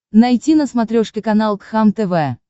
найти на смотрешке канал кхлм тв